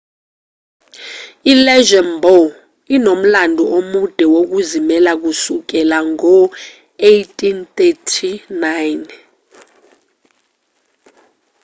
i-luxembourg inomlando omude wokuzimela kusukela ngo-1839